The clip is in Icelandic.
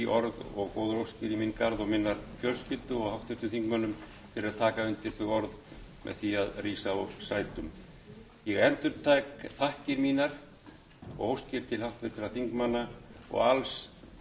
og góðar óskir í minn garð og minnar fjölskyldu og háttvirtum þingmönnum fyrir að taka undir þau orð með því að rísa úr sætum ég endurtek þakkir mínar